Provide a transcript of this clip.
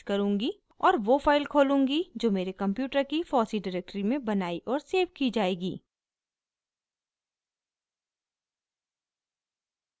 और वो फाइल खोलूँगी जो मेरे कंप्यूटर की fossee डिरेक्टरी में बनाई और सेव की जाएगी